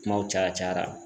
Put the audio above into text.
Kumaw caya cayaraa.